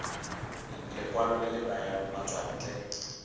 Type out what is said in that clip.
lekwalo le le nayang batswantle